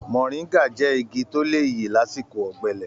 Mọ̀ríńgà jẹ́ igi tó lè yè lásìkò ọ̀gbẹlẹ̀.